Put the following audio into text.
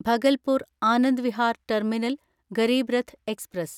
Bhagalpur Anand Vihar terminal Garib Rath express